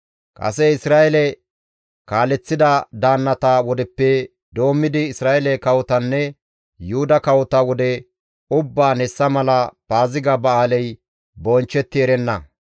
Kase Isra7eele kaaleththida daannata wodeppe doommidi Isra7eele kawotanne Yuhuda kawota wode ubbaan hessa mala Paaziga ba7aaley bonchchetti erenna.